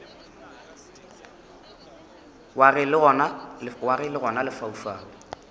wa ge le gona lefaufau